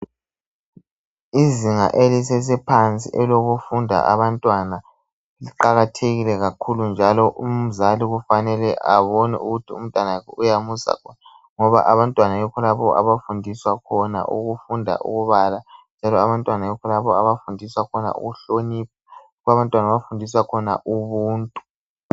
Izinga elisesephansi elofunda abantwana liqakathekile kakhulu njalo umzali kufanele abone ukuthi umntanakhe uyamusa ngoba abantwana yikho lapho abafundiswa khona ukufunda ukubala, ukuhlonipha Kanye lobuntu.